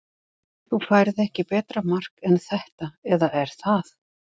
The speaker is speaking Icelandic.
Þú færð ekki betra mark en þetta eða er það?